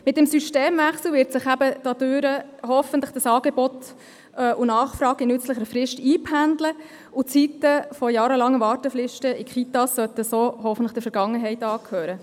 Mit dem Systemwechsel werden sich Angebot und Nachfrage hoffentlich innert nützlicher Frist einpendeln, und die Zeiten der jahrelangen Wartefristen in Kitas sollten so hoffentlich der Vergangenheit angehören.